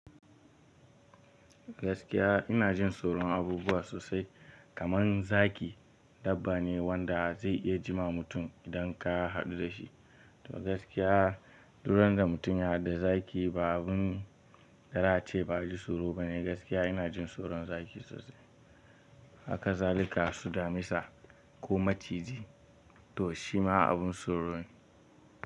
Gaskiya ina jin tsoron abubuwa sosai kamar zaki dabba ne wanda zai iya jima mutum idan ka haɗu da shi. To gaskiya duk randa mutum ya haɗu da zaki ba abun da za a ce ba, ji tsoro bane. Gaskiya ina jin tsoron zaki sosai. Haka zalika damisa ko maciji to shima abin tsoro ne.